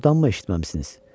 Doğrudanmı eşitməmisiniz?